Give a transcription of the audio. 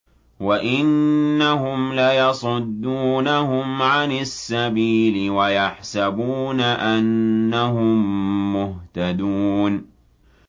وَإِنَّهُمْ لَيَصُدُّونَهُمْ عَنِ السَّبِيلِ وَيَحْسَبُونَ أَنَّهُم مُّهْتَدُونَ